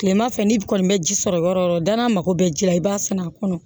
Kilema fɛ ni kɔni bɛ ji sɔrɔ yɔrɔ o yɔrɔ da n'a mago bɛ ji la i b'a san a kɔnɔ